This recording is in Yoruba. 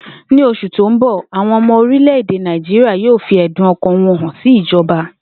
Ní os̩ù tó ń bò̩, àwo̩n o̩mo̩ orimlè̩-èdè Naijíríà yóò fi è̩dùn o̩kàn wo̩n sí ìjo̩ba